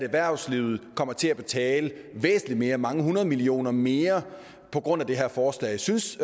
at erhvervslivet kommer til at betale væsentligt mere mange hundrede millioner mere på grund af det her forslag synes